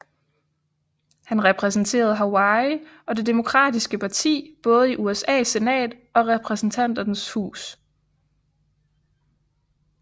Han repræsenterede Hawaii og Det demokratiske parti både i USAs senat og Repræsentanternes hus